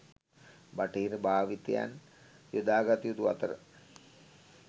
බටහිර භාවිතයන් යොදාගත යුතු අතර